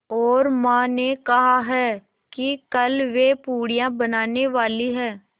और माँ ने कहा है कि कल वे पूड़ियाँ बनाने वाली हैं